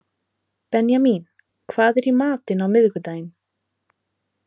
Benjamín, hvað er í matinn á miðvikudaginn?